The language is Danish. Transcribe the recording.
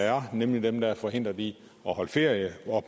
er nemlig dem der er forhindret i at holde ferie